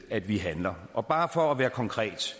at vi handler og bare for at være konkret